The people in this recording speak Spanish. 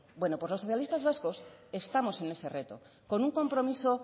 bueno pues los socialistas vascos estamos en ese reto con un compromiso